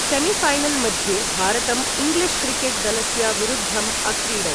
Semi-final मध्ये भारतम् English cricket दलस्य विरुद्धम् अक्रीडत्।